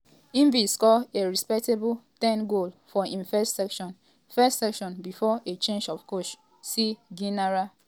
im bin score a respectable ten goals for im first season first season bifor a change of coach see gennaro gattuso replaced by luciano spalletti.